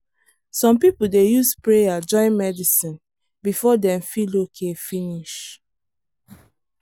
some people dey use prayer join medicine before dem feel okay finish.